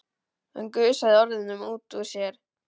Hann gusaði orðunum út úr sér.